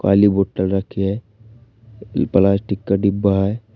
खाली बॉटल रखी है प्लास्टिक का डिब्बा है।